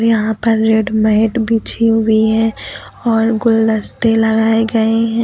यहां पर red mat बिछी हुई है और गुलदस्ते लगाए गए हैं।